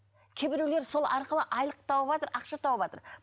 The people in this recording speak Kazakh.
кейбіреулер сол арқылы айлық тауыватыр ақша тауыватыр